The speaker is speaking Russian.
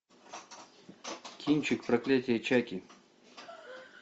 кинчик проклятие чаки